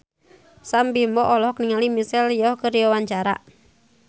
Sam Bimbo olohok ningali Michelle Yeoh keur diwawancara